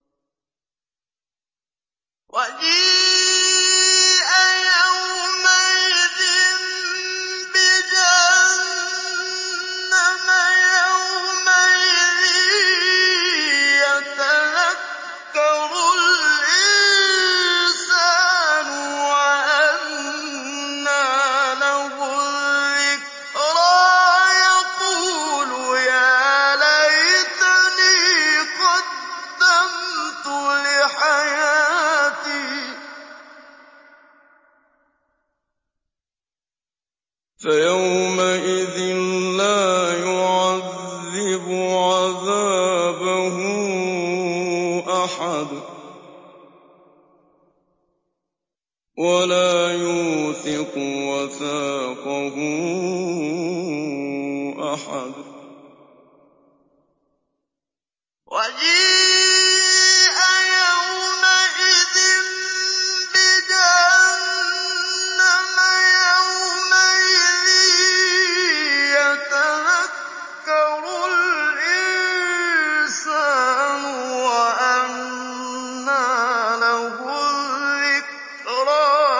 وَجِيءَ يَوْمَئِذٍ بِجَهَنَّمَ ۚ يَوْمَئِذٍ يَتَذَكَّرُ الْإِنسَانُ وَأَنَّىٰ لَهُ الذِّكْرَىٰ